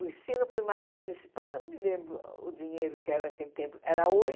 O ensino primário municipal, não me lembro o dinheiro que era naquele tempo, era oito